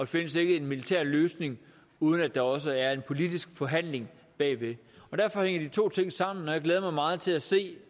findes en militær løsning uden at der også er en politisk forhandling derfor hænger de to ting sammen og jeg glæder mig meget til at se